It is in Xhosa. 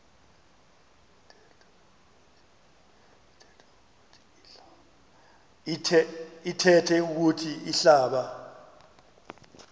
ithethe ukuthi ihlaba